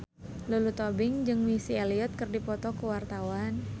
Lulu Tobing jeung Missy Elliott keur dipoto ku wartawan